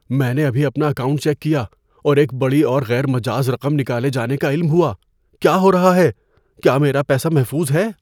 میں نے ابھی اپنا اکاؤنٹ چیک کیا اور ایک بڑی اور غیر مجاز رقم نکالے جانے کا علم ہوا۔ کیا ہو رہا ہے؟ کیا میرا پیسہ محفوظ ہے؟